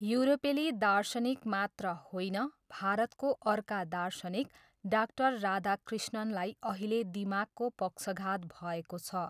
युरोपेली दार्शनिक मात्र होइन भारतको अर्का दार्शनिक डाक्टर राधकृष्णन्‌लाई अहिले दिमागको पक्षघात भएको छ।